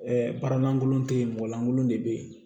baara lankolon te yen mɔgɔ lankolon de be yen